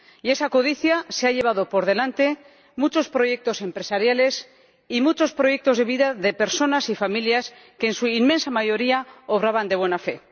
Esa codicia se ha llevado por delante muchos proyectos empresariales y muchos proyectos de vida de personas y familias que, en su inmensa mayoría, obraban de buena fe.